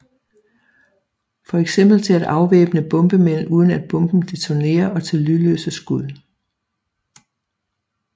Fx til at afvæbne bombemænd uden at bomben detonerer og til lydløse skud